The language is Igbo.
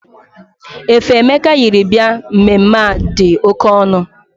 Efe Emeka yiri bịa mmemme a dị oke ọnụ.